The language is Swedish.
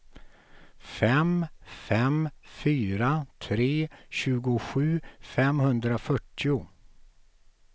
fem fem fyra tre tjugosju femhundrafyrtio